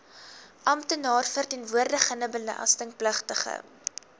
amptenaar verteenwoordigende belastingpligtige